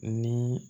Ni